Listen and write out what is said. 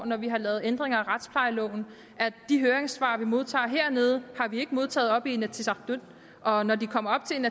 når vi har lavet ændringer i retsplejeloven at de høringssvar vi modtager hernede har vi ikke modtaget oppe i inatsisartut og når de kommer op til